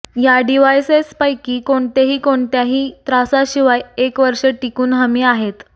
या डिव्हाइसेस पैकी कोणतेही कोणत्याही त्रासाशिवाय एक वर्षे टिकून हमी आहेत